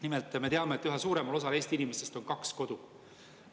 Nimelt, me teame, et üha suuremal osal Eesti inimestest on kaks kodu.